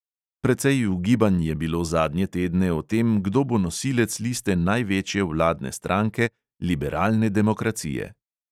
Precej ugibanj je bilo zadnje tedne o tem, kdo bo nosilec liste največje vladne stranke, liberalne demokracije.